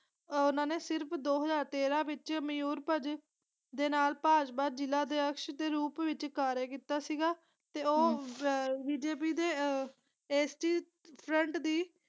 ਆਹ ਓਹਨਾ ਨੇ ਸਿਰਫ ਦੋ ਹਜ਼ਾਰ ਤੇਰਾ ਵਿਚ ਮਾਯੂਰਪੰਜ ਦੇ ਨਾਲ ਭਾਜਪਾ ਜ਼ਿਲਾ ਅਧਯਕ੍ਸ਼ ਦੇ ਰੂਪ ਵਿਚ ਕਾਰਯਾ ਕੀਤਾ ਸੀਗਾ ਤੇ ਉਹ ਬ ਬੀ. ਜੇ. ਪੀ ਦੇ ਆਹ ਫਰੰਟ ਦੀ।